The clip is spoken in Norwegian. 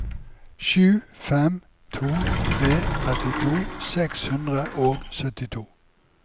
sju fem to tre trettito seks hundre og syttito